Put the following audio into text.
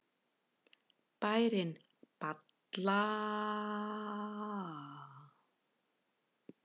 Bærinn Ballará dregur nafn sitt af ánni.